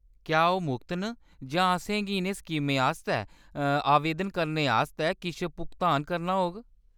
क्या ओह्‌‌ मुख्त न जां असेंगी इʼनें स्कीमें आस्तै आवेदन करने आस्तै किश भुगतान करना होग ?